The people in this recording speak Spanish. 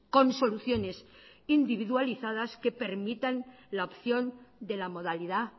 con soluciones individualizadas que permitan la opción de la modalidad